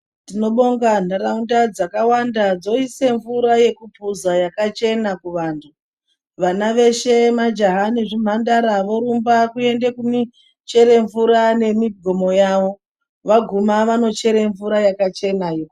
Tinobonga ntaraunda dzakawanda dzoise mvura yekupoza yakachena kuvantu vana veshe majaha nezvimhandara vorumba kuendepi kungochera mvura ngemingomo yavo vaguma vaonechera mvura yakachenayo.